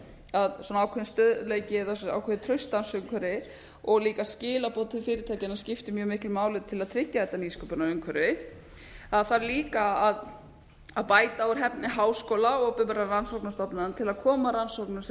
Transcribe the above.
að svona ákveðinn stöðugleiki eða ákveðið starfsumhverfi og líka skilaboð til fyrirtækjanna skipti mjög miklu máli til að tryggja þetta nýsköpunarumhverfi það þarf líka að bæta úr hæfni háskóla opinberra rannsóknastofnana til að koma rannsóknum sem